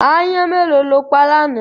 Aáyán mélòó lo pa lánàá?